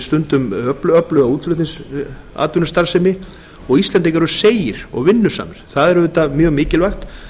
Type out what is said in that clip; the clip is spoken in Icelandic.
stundum öfluga útflutningsatvinnustarfsemi og íslendingar eru seigir og vinnusamir það er auðvitað mjög mikilvægt